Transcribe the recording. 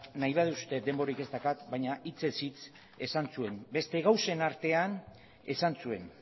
nahi baduzue denborarik ez daukat baina hitzez hitz esan zuen beste gauzen artean esan zuen